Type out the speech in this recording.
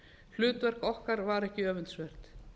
hlutverk okkar var ekki öfundsvert